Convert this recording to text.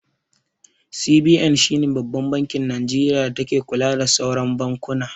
CBN shine Babban bankin Nijeriya da take kula da sauran bankuna